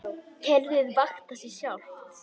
Kerfið vaktar sig sjálft.